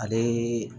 Ale